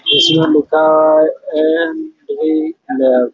इसमें लिखा है।